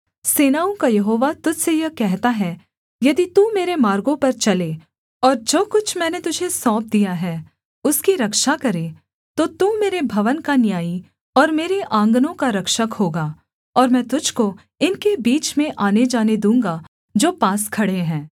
सेनाओं का यहोवा तुझ से यह कहता है यदि तू मेरे मार्गों पर चले और जो कुछ मैंने तुझे सौंप दिया है उसकी रक्षा करे तो तू मेरे भवन का न्यायी और मेरे आँगनों का रक्षक होगा और मैं तुझको इनके बीच में आनेजाने दूँगा जो पास खड़े हैं